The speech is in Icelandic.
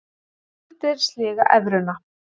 Skuldir sliga evruna